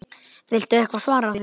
Viltu eitthvað svara því?